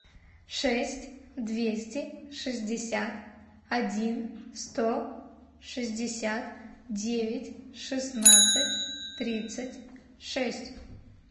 шесть двести шестьдесят один сто шестьдесят девять шестнадцать тридцать шесть